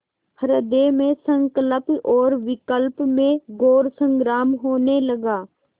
हृदय में संकल्प और विकल्प में घोर संग्राम होने लगा